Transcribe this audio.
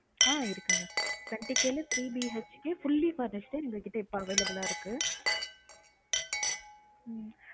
ஆஹ் இருக்குங்க twenty K ல three BHK fully furnished எங்க கிட்ட எங்க available ஆ இருக்கு உம்